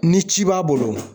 Ni ci b'a bolo